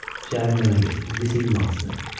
Cəhənnəmə get, indi isə yum ağzını.